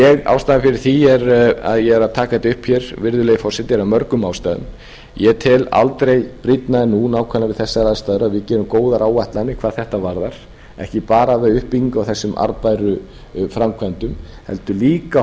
ástæðan fyrir því að ég er að taka þetta upp hér virðulegi forseti er af mörgum ástæðum ég tel aldrei brýnna en nú nákvæmlega við þessar aðstæður að við gerum góðar áætlanir hvað þetta varðar ekki bara við uppbyggingu á þessum arðbæru framkvæmdum heldur auka